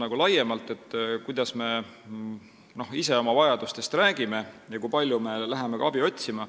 See sõltub sellest, kuidas me ise oma vajadustest räägime ja kui palju me läheme ka abi otsima.